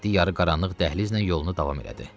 Mehdi yarıqaranlıq dəhlizlə yolunu davam elədi.